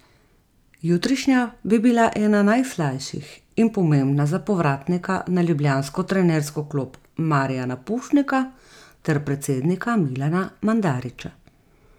Jutrišnja bi bila ena najslajših in pomembna za povratnika na ljubljansko trenersko klop Marijana Pušnika ter predsednika Milana Mandarića.